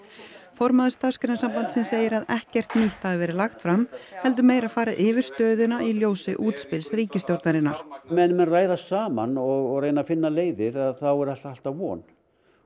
formaður Starfsgreinasambandsins segir að ekkert nýtt hafi verið lagt fram heldur meira farið yfir stöðuna í ljósi útspils ríkisstjórnarinnar meðan menn ræða saman og reyna að finna leiðir þá er alltaf von